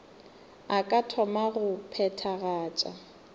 a ka thoma go phethagatša